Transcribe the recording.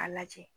A lajɛ